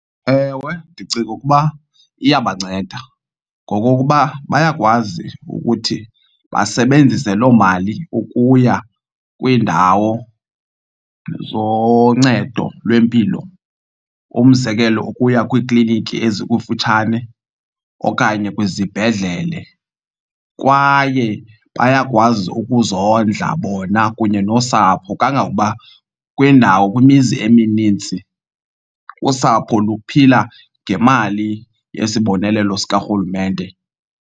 Ewe, ndicinga ukuba iyabanceda ngokokuba bayakwazi ukuthi basebenzise loo mali ukuya kwiindawo zoncedo lwempilo, umzekelo ukuya kwiikliniki ezikufutshane okanye kwizibhedlele. Kwaye bayakwazi ukuzondla bona kunye nosapho kangangokuba kwiindawo kwimizi emininzi usapho luphila ngemali yesibonelelo sikarhulumente.